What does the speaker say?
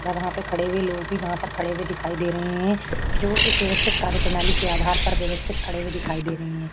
वहाँ पे खड़े हुए लोग भी वहाँ पर खड़े हुए दिखाई दे रहे हैं जो एक व्यवस्थित कार्यप्रणाली के आधार पर व्यवस्थित खड़े हुए दिखाई दे रहे हैं।